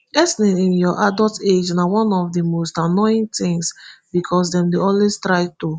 acne in your adult age na one of di most annoying tins becos dem dey always try to